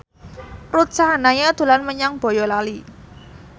Ruth Sahanaya dolan menyang Boyolali